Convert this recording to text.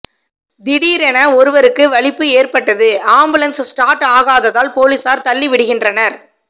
திடீரென ஒருவருக்கு வலிப்பு ஏற்பட்டது ஆம்புலன்ஸ் ஸ்டார்ட் ஆகாததால் போலீசார் தள்ளிவிடுகின்றனர்